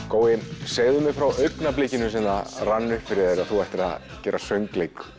gói segðu mér frá augnablikinu sem það rann upp fyrir þér að þú ættir að gera söngleik